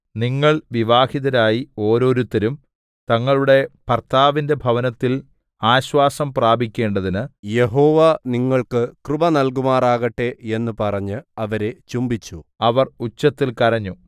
നിങ്ങൾ വിവാഹിതരായി ഓരോരുത്തരും തങ്ങളുടെ ഭർത്താവിന്റെ ഭവനത്തിൽ ആശ്വാസം പ്രാപിക്കേണ്ടതിന് യഹോവ നിങ്ങൾക്ക് കൃപ നല്കുമാറാകട്ടെ എന്നു പറഞ്ഞു അവരെ ചുംബിച്ചു അവർ ഉച്ചത്തിൽ കരഞ്ഞു